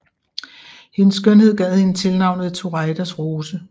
Hendes skønhed gav hende tilnavnet Turaidas Rose